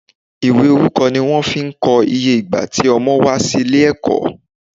Ìwé orúkọ ni wón fi ko iye ìgbà ti Ọmọ wà sí ilé èkó